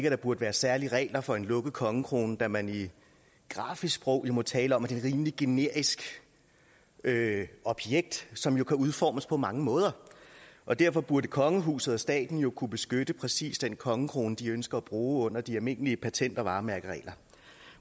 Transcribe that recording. at der burde være særlige regler for en lukket kongekrone da man i grafisk sprog jo må tale om at det er et rimelig generisk objekt som kan udformes på mange måder og derfor burde kongehuset og staten kunne beskytte præcis den kongekrone de ønsker at bruge under de almindelige patent og varemærkeregler